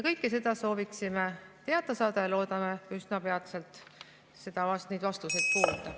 Kõike seda sooviksime teada saada ja loodame üsna peatselt neid vastuseid kuulda.